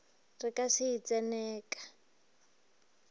re ka se e tseneka